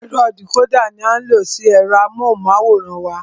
Ẹ̀rọ dìcódà ní a ń lo sí ẹ̀rọ amóhùnmáwòrán wa.